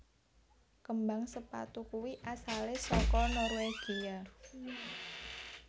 Kembang sepatu kui asale soko Norwegia